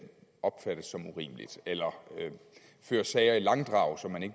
opfattes som urimeligt eller fører sager i langdrag som man ikke